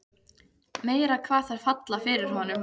Meira hvað þær falla fyrir honum!